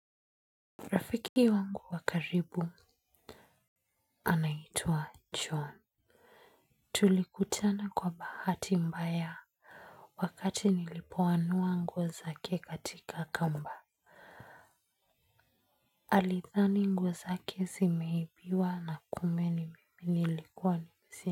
Rafiki wangu wakaribu anaitua John. Tulikutana kwa bahati mbaya. Wakati nilipoanua nguwo zake katika kamba alithani nguo zake zimeibiwa na kumbe ni mimi nilikuwa nimezieka.